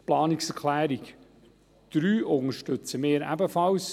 Die Planungserklärung 3 unterstützen wir ebenfalls.